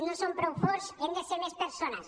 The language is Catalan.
no som prou forts hem de ser més persones